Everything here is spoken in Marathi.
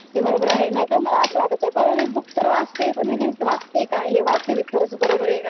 ते बरोबर आहे नाहीतर मला असं वाटायचं बरं बुक तर वाटते पण नेमके वाचते काय हे वाचते खरंच बरोबर आहे का